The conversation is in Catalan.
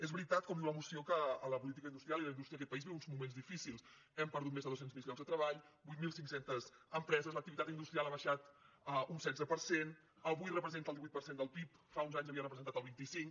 és veritat com diu la moció que la política industrial i la indústria d’aquest país viuen uns moments difícils hem perdut més de dos cents miler llocs de treball vuit mil cinc cents empreses l’activitat industrial ha baixat un setze per cent avui representa el divuit per cent del pib fa uns anys havia representat el vint cinc